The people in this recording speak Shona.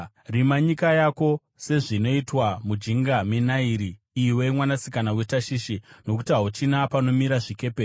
Rima nyika yako sezvinoitwa mujinga meNairi, iwe mwanasikana weTashishi, nokuti hauchina panomira zvikepe.